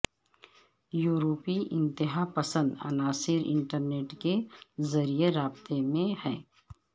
یورپی انتہا پسند عناصر انٹرنیٹ کے ذریعے رابطے میں ہیں